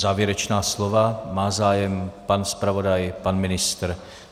Závěrečná slova - má zájem pan zpravodaj, pan ministr?